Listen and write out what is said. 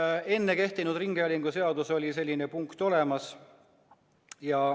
Muuseas, ka varem kehtinud ringhäälinguseaduses oli selline punkt olemas.